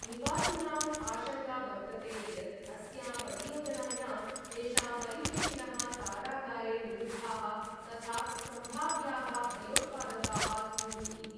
निवासिनाम् आशङंका वर्तते यत् अस्यां परियोजनायां तेषां परिवेशिनः कारागारे निरुद्धाः तथा संभाव्याः भयोत्पादकाः स्युः इति।